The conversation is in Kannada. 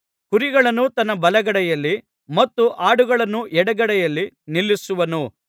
ಕುರಿಗಳನ್ನು ತನ್ನ ಬಲಗಡೆಯಲ್ಲಿ ಮತ್ತು ಆಡುಗಳನ್ನು ಎಡಗಡೆಯಲ್ಲಿ ನಿಲ್ಲಿಸುವನು